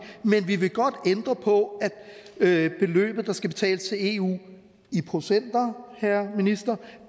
men vi vil godt ændre på at beløbet der skal betales til eu i procenter herre minister